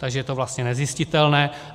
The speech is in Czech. Takže je to vlastně nezjistitelné.